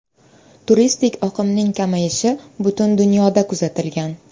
Turistik oqimning kamayishi butun dunyoda kuzatilgan.